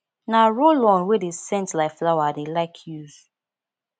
na rollon wey dey scent like flower i dey like use